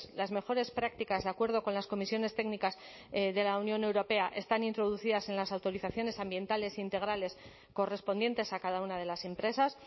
las mejores prácticas de acuerdo con las comisiones técnicas de la unión europea están introducidas en las autorizaciones ambientales integrales correspondientes a cada una de las empresas